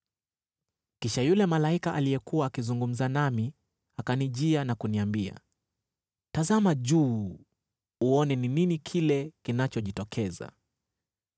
Kisha yule malaika aliyekuwa akizungumza nami akanijia na kuniambia, “Tazama juu uone ni nini kile kinachojitokeza.”